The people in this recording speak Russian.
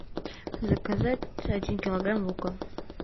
заказать один килограмм лука